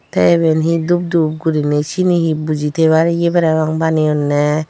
teh eben he dup dup gurine siyeni he buji tebar yeh parapang baniyone.